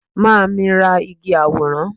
ma mi ra Igi aworan